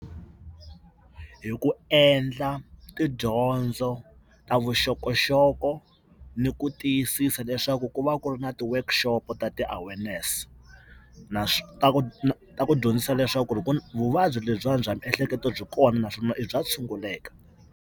Hi ku endla tidyondzo ta vuxokoxoko ni ku tiyisisa leswaku ku va ku ri na ti-workshop ta ti-awareness, na ta ku dyondzisa leswaku vuvabyi lebyiwani bya miehleketo byi kona naswona i bya tshunguleka.